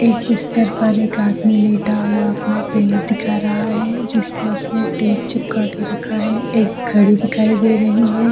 एक बिस्तर पर एक आदमी लेटा हुआ अपना पैर दिखा रहा है जिसपे उसने टेप चिपका के रखा है एक घडी दखाई दे रही है।